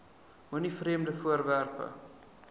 moenie vreemde voorwerpe